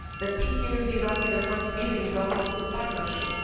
The PCA with Iraq is the first building block of good partnership.